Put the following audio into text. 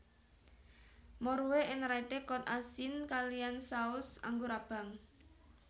Morue en Rayte kod asin kaliyan saus anggur abang